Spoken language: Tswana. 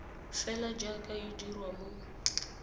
fela jaaka e dirwa mo